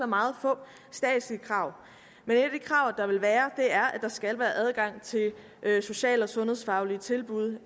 meget få statslige krav men et af de krav der vil være er at der skal være adgang til sociale og sundhedsfaglige tilbud